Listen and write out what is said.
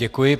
Děkuji.